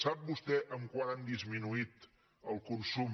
sap vostè en quant ha disminuït el consum